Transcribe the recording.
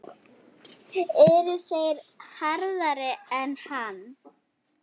Eru þeir harðari en hann?